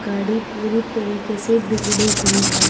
गाड़ी पूरी तरीके से बिगड़ी हुई है।